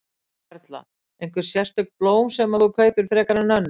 Erla: Einhver sérstök blóm sem að þú kaupir frekar en önnur?